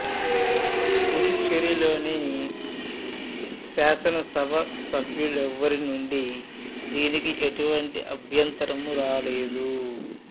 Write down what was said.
పుదుచ్చేరి లోని శాసనసభ సభ్యులెవ్వరి నుండి దీనికి ఎటువంటి అభ్యంతరమూ రాలేదు